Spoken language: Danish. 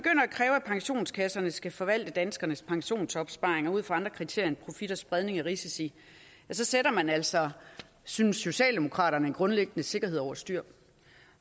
kræve at pensionskasserne skal forvalte danskernes pensionsopsparinger ud fra andre kriterier end profit og spredning af risici sætter man altså synes socialdemokraterne en grundliggende sikkerhed over styr